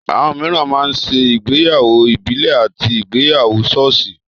Àwọn mìíràn máa ń ṣe ìgbéyàwó ìbílè àti ìgbéyàwó sọ́ọ̀sì.